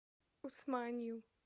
усманью